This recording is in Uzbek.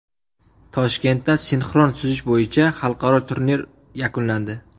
Toshkentda sinxron suzish bo‘yicha xalqaro turnir yakunlandi.